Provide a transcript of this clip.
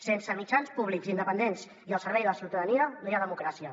sense mitjans públics independents i al servei de la ciutadania no hi ha democràcia